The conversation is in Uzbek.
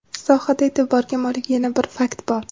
Sohada e’tiborga molik yana bir fakt bor.